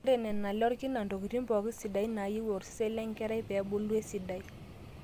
eeta nena ale orkina intokitin pooki sidan naayieu osesen lenkerai pee ebulu esidai